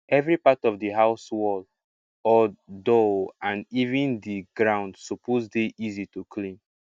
every part of di house wall odoor o and even di ground suppose dey easy to clean